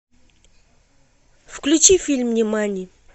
включи фильм нимани